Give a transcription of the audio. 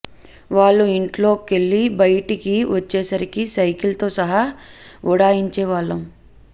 వాళ్ళు ఇంట్లో కెళ్ళి బైటికి వచ్చేసరికి సైకిల్ తో సహా ఉడాయించేవాళ్ళం